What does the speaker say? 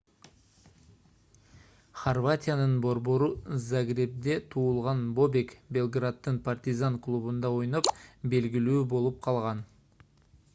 хорватиянын борбору загребде туулган бобек белграддын партизан клубунда ойноп белгилүү болуп калган